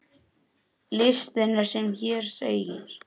Listinn er sem hér segir